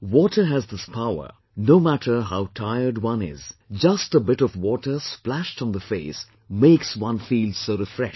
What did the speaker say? Water has this power, no matter how tired one is, just a bit of water splashed on the face makes one feel so refreshed